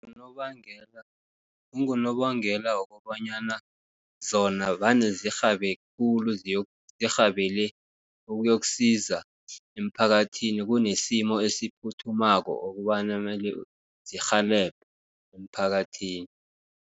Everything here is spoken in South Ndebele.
Unobangela wokobanyana zona vane zirhabe khulu, zirhabele ukuyokusiza emphakathini, kunesimo esiphuthumako okobana mele zirhelebhe emphakathini.